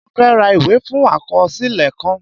Mo fẹ́ ra ìwé fún àkọsílẹ̀ kan